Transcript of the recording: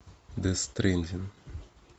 дес стрендинг